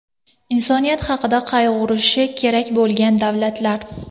Insoniyat haqida qayg‘urishi kerak bo‘lgan davlatlar.